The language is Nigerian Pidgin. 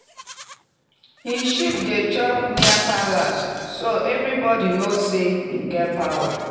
him sheep dey chop near palace so everybody know say him get power.